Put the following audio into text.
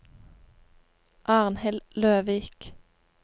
Arnhild Løvik